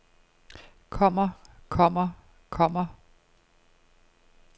kommer kommer kommer